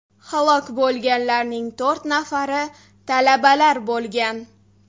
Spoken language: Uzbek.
Halok bo‘lganlarning to‘rt nafari talabalar bo‘lgan.